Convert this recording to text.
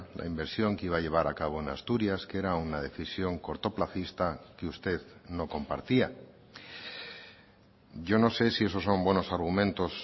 la inversión que iba a llevar a cabo en asturias que era una decisión cortoplacista que usted no compartía yo no sé si esos son buenos argumentos